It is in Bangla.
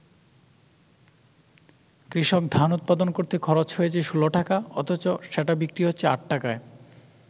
কৃষক ধান উৎপাদন করতে খরচ হয়েছে ১৬ টাকা, অথচ সেটা বিক্রি হচ্ছে ৮ টাকায়।